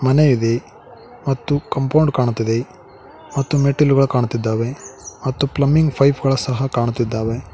ಮನೆ ಇದೆ ಮತ್ತು ಕಂಪೌಂಡ್ ಕಾಣುತ್ತದೆ ಮತ್ತು ಮೆಟ್ಟಿಲು ಕಾಣುತ್ತಿದ್ದಾವೇ ಮತ್ತು ಪ್ಲಮ್ಬಿಂಗ್ ಪೈಪ್ ಗಳು ಸಹ ಕಾಣುತ್ತಿದ್ದಾವೆ.